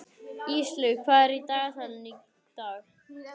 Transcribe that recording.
Íslaug, hvað er í dagatalinu í dag?